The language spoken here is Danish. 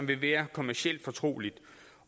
vil være kommercielt fortroligt